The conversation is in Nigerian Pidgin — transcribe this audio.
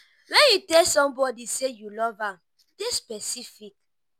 when you tell somebody sey you love am dey specific